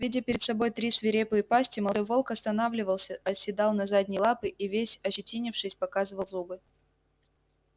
видя перед собой три свирепые пасти молодой волк останавливался оседал на задние лапы и весь ощетинившись показывал зубы